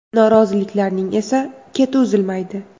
Noroziliklarning esa keti uzilmaydi.